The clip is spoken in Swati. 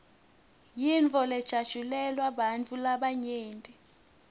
yintfo lejatjulelwa bantfu labanyenti